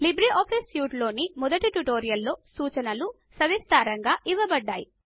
LibreOffice సూట్లోని మొదటి ట్యుటోరియల్లో సూచనలు సవిస్తారంగా ఇవ్వబడ్డాయి